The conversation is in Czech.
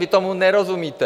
Vy tomu nerozumíte.